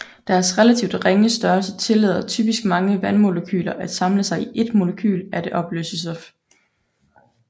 Deres relativt ringe størrelse tillader typisk mange vandmolekyler at samle sig om ét molekyle af det opløste stof